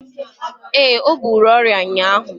Ee, ọ bu ọrịa ụnyaahụ